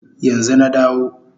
Yanzu na dawo